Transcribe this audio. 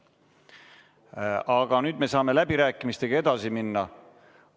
Aga nüüd me saame läbirääkimistega edasi minna.